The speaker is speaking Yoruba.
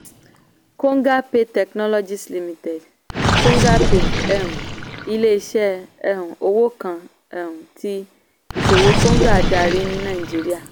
kongapay technologies limited: kongapay um ilé iṣẹ́ um owó kan um tí iṣòwò konga darí ní naijiría.